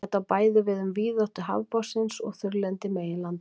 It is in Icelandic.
þetta á bæði við um víðáttu hafsbotnsins og þurrlendi meginlandanna